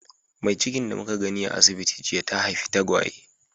Mai cikin da muka gani a asibiti jiya, ta haifi tagwaye.